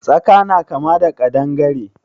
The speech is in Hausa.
Tsaka na kama da ƙadangare.